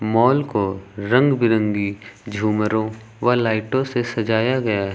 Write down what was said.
Mall को रंग बिरंगी झूमरों व लाइटों से सजाया गया है।